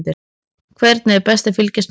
Hvernig er best að fylgjast með?